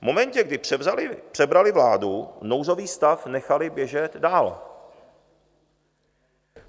V momentě, kdy přebrali vládu, nouzový stav nechali běžet dál.